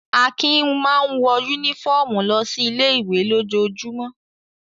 Akin máa ń wọ únífọ́ọ́mù lọ sí ilé-ìwé lójoojúmọ́.